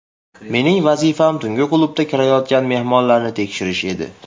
Mening vazifam tungi klubga kirayotgan mehmonlarni tekshirish edi.